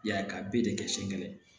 I y'a ye ka be de kɛ sɛngɛ